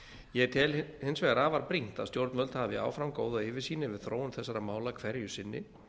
ég tel hins vegar afar brýnt að stjórnvöld hafi áfram góða yfirsýn yfir þróun þessara mála hverju sinni